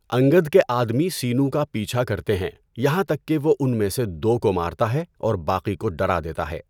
انگد کے آدمی سینو کا پیچھا کرتے ہیں یہاں تک کہ وہ ان میں سے دو کو مارتا ہے اور باقی کو ڈرا دیتا ہے۔